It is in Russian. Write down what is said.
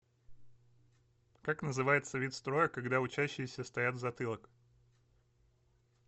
как называется вид строя когда учащиеся стоят в затылок